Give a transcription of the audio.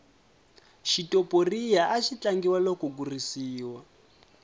xitoporiya axi tlangiwa loko ku risiwa